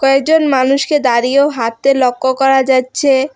একজন মানুষকে দাঁড়িয়ে ও হাঁততে লক্য করা যাচ্ছে।